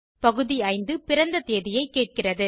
பகுதி 5 பிறந்த தேதியைக் கேட்கிறது